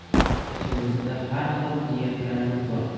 Ichimizda har xil niyatlarimiz bor.